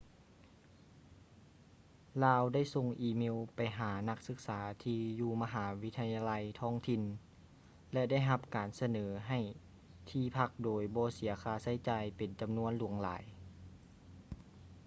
ລາວໄດ້ສົ່ງອີເມວໄປຫານັກສຶກສາທີ່ຢູ່ມະຫາວິທະຍາໄລທ້ອງຖິ່ນ ແລະ ໄດ້ຮັບການສະເໜີໃຫ້ທີ່ພັກໂດຍບໍ່ເສຍຄ່າໃຊ້ຈ່າຍເປັນຈຳນວນຫຼວງຫຼາຍ